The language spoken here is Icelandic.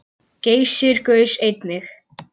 Geysir gaus einnig.